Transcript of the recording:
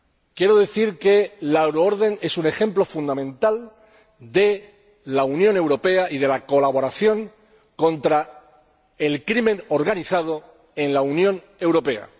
Quiero decir que la euroorden es un ejemplo fundamental de la Unión Europea y de la colaboración contra el crimen organizado en la Unión Europea.